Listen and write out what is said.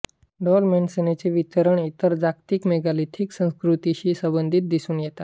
डॉल्मेन्सचे वितरण इतर जागतिक मेगालिथिक संस्कृतींशी संबंधित दिसून येतात